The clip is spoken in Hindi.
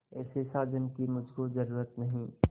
ऐसे साजन की मुझको जरूरत नहीं